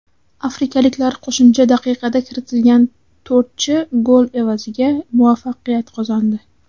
Afrikaliklar qo‘shimcha daqiqada kiritilgan to‘rtchi gol evaziga muvaffaqiyat qozondi.